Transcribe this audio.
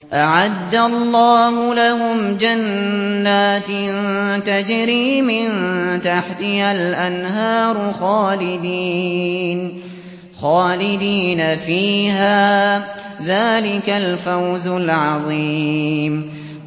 أَعَدَّ اللَّهُ لَهُمْ جَنَّاتٍ تَجْرِي مِن تَحْتِهَا الْأَنْهَارُ خَالِدِينَ فِيهَا ۚ ذَٰلِكَ الْفَوْزُ الْعَظِيمُ